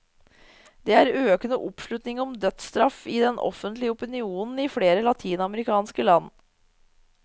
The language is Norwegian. Det er økende oppslutning om dødsstraff i den offentlige opinionen i flere latinamerikanske land.